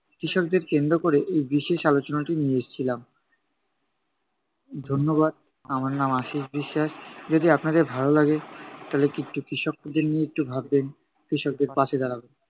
কৃষকদের কেন্দ্র ক'রে এই বিশেষ আলোচনাটি নিয়ে এসছিলাম। ধন্যবাদ, আমার নাম আশীষ বিশ্বাস যদি আপনাদের ভালো লাগে তাহলে কৃ~ কৃষকদের নিয়ে একটু ভাববেন। কৃষকদের পাশে দাঁড়াবেন।